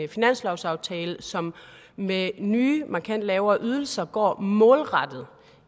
finanslovsaftale som med nye markant lavere ydelser går målrettet